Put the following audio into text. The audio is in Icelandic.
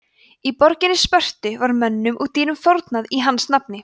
í borginni spörtu var mönnum og dýrum fórnað í hans nafni